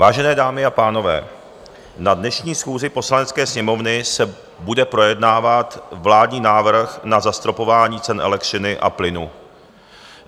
Vážené dámy a pánové, na dnešní schůzi Poslanecké sněmovny se bude projednávat vládní návrh na zastropování cen elektřiny a plynu.